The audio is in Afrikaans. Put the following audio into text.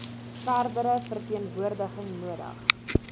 verdere verteenwoordiging nodig